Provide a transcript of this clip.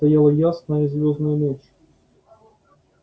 стояла ясная звёздная ночь